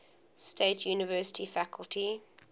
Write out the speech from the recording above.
state university faculty